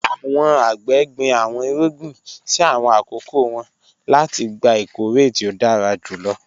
Àwọn àgbẹ̀ gbin àwọn ìrúgbìn sí àwọn akókò wọn láti gbà ìkọ̀rẹ̀ tí o dára júlọ